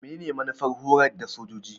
Menene manufar horar da sojoji?